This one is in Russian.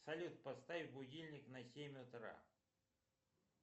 салют поставь будильник на семь утра